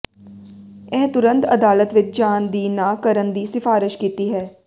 ਇਹ ਤੁਰੰਤ ਅਦਾਲਤ ਵਿਚ ਜਾਣ ਦੀ ਨਾ ਕਰਨ ਦੀ ਸਿਫਾਰਸ਼ ਕੀਤੀ ਹੈ